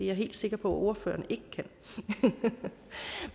jeg helt sikker på at ordføreren ikke kan